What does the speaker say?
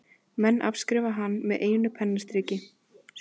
Menn afskrifa hann með einu pennastriki.